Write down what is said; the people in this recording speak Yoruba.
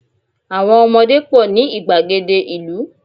àwọn ọmọdé pọ ni igbagede ìlú